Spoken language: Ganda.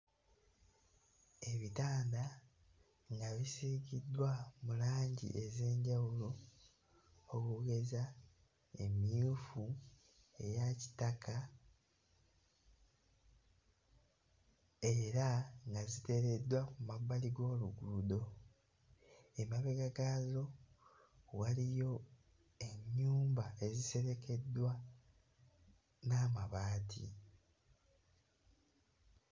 Ebitanda nga bisiigiddwa mu langi ez'enjawulo okugeza emmyufu, eya kitaka era nga ziteereddwa ku mabbali g'oluguudo emabega gaazo waliyo ennyumba eziserekeddwa n'amabaati.